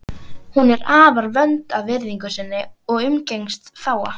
Hún er afar vönd að virðingu sinni og umgengst fáa.